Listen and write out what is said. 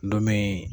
Dɔ min